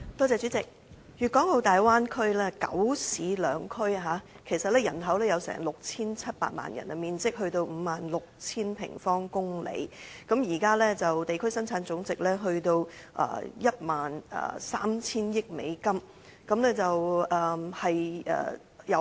主席，粵港澳大灣區包括九市兩區，人口達到 6,700 萬人，面積達到 56,000 平方公里；現時的地區生產總值，達到 13,000 億美元。